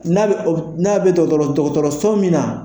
N'a bɛ ka n'a bɛ dɔgɔtɔrɔ so min na